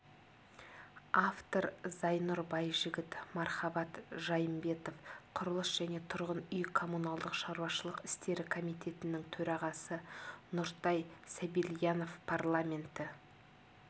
автор зайнұр байжігіт мархабат жайымбетов құрылыс және тұрғын үй-коммуналдық шаруашылық істері комитетінің төрағасы нұртай сабильянов парламенті